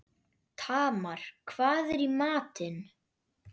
Tamar, hvað er í matinn?